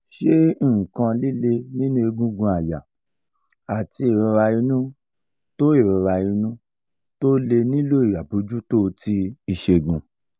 ṣé nkan lile ninu egungun aya ati irora inu to irora inu to le nilo abojuto ti isegun?